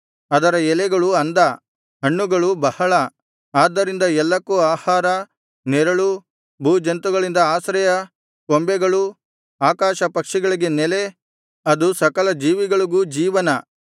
ಅದರ ಎಲೆಗಳು ಅಂದ ಹಣ್ಣುಗಳು ಬಹಳ ಆದ್ದರಿಂದ ಎಲ್ಲಕ್ಕೂ ಆಹಾರ ನೆರಳೂ ಭೂಜಂತುಗಳಿಗೆ ಆಶ್ರಯ ಕೊಂಬೆಗಳು ಆಕಾಶ ಪಕ್ಷಿಗಳಿಗೆ ನೆಲೆ ಅದು ಸಕಲ ಜೀವಿಗಳಿಗೂ ಜೀವನ